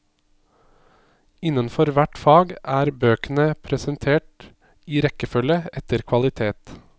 Innenfor hvert fag er bøkene presentert i rekkefølge etter kvalitet.